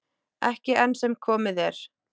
Ekki enn sem komið er.